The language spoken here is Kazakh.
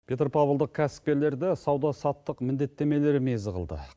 петропавлдық кәсіпкерлерді сауда саттық міндеттемелері мезі қылды